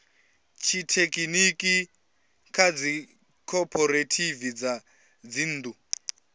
tshithekhiniki kha dzikhophorethivi dza dzinnḓu